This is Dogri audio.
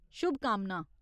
शुभकामनां !